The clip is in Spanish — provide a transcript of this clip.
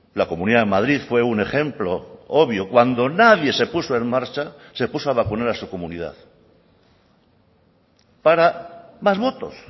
la comunidad de madrid fue un ejemplo obvio cuando nadie se puso en marcha se puso a vacunar a su comunidad para más votos